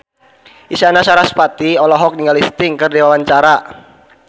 Isyana Sarasvati olohok ningali Sting keur diwawancara